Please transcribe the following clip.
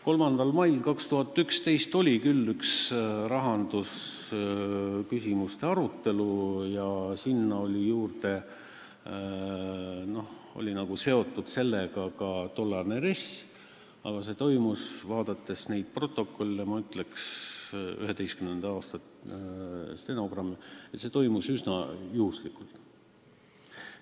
3. mail 2011 oli küll üks rahandusküsimuste arutelu, sellega oli seotud ka tollane RES, aga olles vaadanud 2011. aasta stenogramme, ma ütleks, et see toimus üsna juhuslikult.